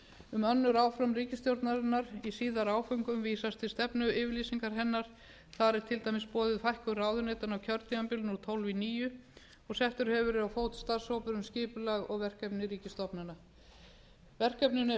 um önnur áform ríkisstjórnarinnar í síðari áföngum vísast til stefnuyfirlýsingar hennar þar er til dæmis boðuð fækkun ráðuneytanna á kjörtímabilinu úr tólf í níunda settur hefur verið á fót starfshópur um skipulag og verkefni ríkisstofnana verkefninu er